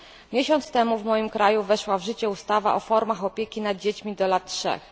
Miesiąc tego w moim kraju weszła w życie ustawa o formach opieki nad dziećmi do lat trzech.